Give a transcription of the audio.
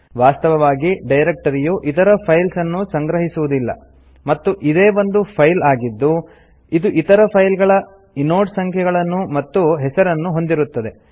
ವಾಸ್ತವವಾಗಿ ಡೈರೆಕ್ಟರಿಯು ಇತರ ಫೈಲ್ಸ್ ಅನ್ನು ಸಂಗ್ರಹಿಸುವುದಿಲ್ಲ ಮತ್ತು ಇದೇ ಒಂದು ಫೈಲ್ ಆಗಿದ್ದು ಇದು ಇತರ ಫೈಲ್ಸ್ ಗಳ ಇನೋಡ್ ಸಂಖ್ಯೆಗಳನ್ನು ಮತ್ತು ಹೆಸರನ್ನು ಹೊಂದಿರುತ್ತದೆ